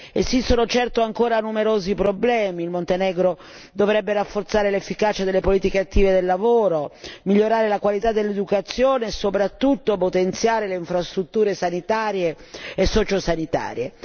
Esistono certo ancora numerosi problemi il Montenegro dovrebbe rafforzare l'efficacia delle politiche attive del lavoro, migliorare la qualità dell'educazione e soprattutto potenziare le infrastrutture sanitarie e sociosanitarie.